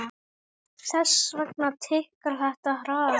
Þess vegna tikkar þetta hraðar.